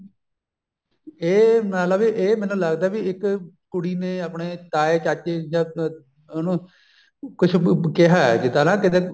ਇਹ ਮੰਨਲੈ ਵੀ ਇਹ ਮੈਨੂੰ ਲੱਗਦਾ ਇੱਕ ਕੁੜੀ ਨੇ ਆਪਣੇ ਤਾਏ ਚਾਚੇ ਜਾ ਉਹਨੂੰ ਕੁੱਛ ਕਿਹਾ ਕਿਤੇ ਨਾ ਕਿਤੇ